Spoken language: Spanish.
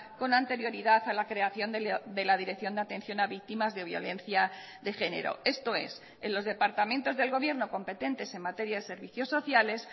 con anterioridad a la creación de la dirección de atención a víctimas de violencia de género esto es en los departamentos del gobierno competentes en materia de servicios sociales